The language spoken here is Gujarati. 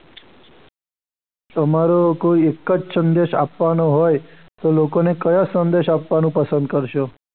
તમારો કોઈ એક જ સંદેશ આપવાનો હોય તો લોકોને કયા સંદેશ આપવાનું પસંદ કરશો?